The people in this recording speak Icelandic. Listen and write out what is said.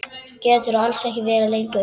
Geturðu alls ekki verið lengur?